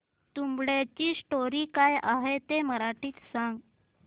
तुंबाडची स्टोरी काय आहे ते मराठीत सांग